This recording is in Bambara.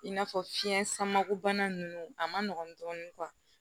I n'a fɔ fiɲɛ samako bana ninnu a ma nɔgɔn dɔɔni